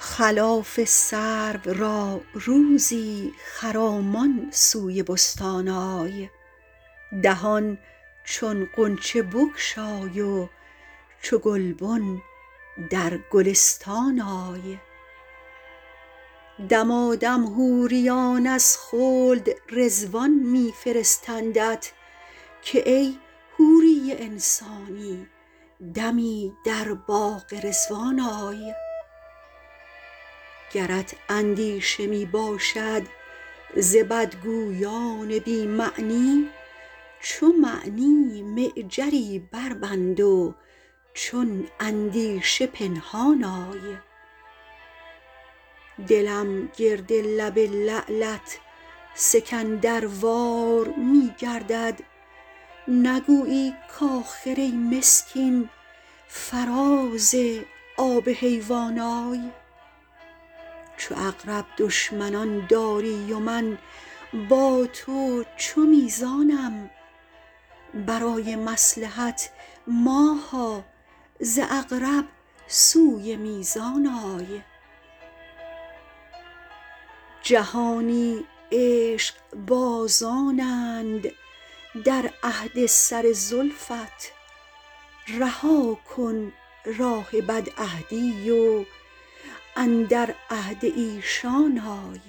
خلاف سرو را روزی خرامان سوی بستان آی دهان چون غنچه بگشای و چو گلبن در گلستان آی دمادم حوریان از خلد رضوان می فرستندت که ای حوری انسانی دمی در باغ رضوان آی گرت اندیشه می باشد ز بدگویان بی معنی چو معنی معجری بربند و چون اندیشه پنهان آی دلم گرد لب لعلت سکندروار می گردد نگویی کآخر ای مسکین فراز آب حیوان آی چو عقرب دشمنان داری و من با تو چو میزانم برای مصلحت ماها ز عقرب سوی میزان آی جهانی عشقبازانند در عهد سر زلفت رها کن راه بدعهدی و اندر عهد ایشان آی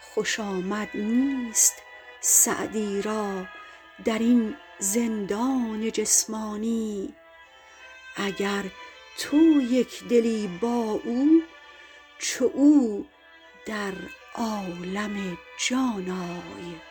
خوش آمد نیست سعدی را در این زندان جسمانی اگر تو یک دلی با او چو او در عالم جان آی